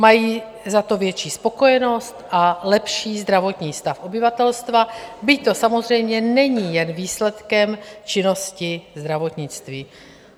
Mají za to větší spokojenost a lepší zdravotní stav obyvatelstva, byť to samozřejmě není jen výsledkem činnosti zdravotnictví.